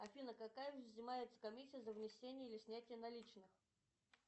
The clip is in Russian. афина какая взымается комиссия за внесение или снятие наличных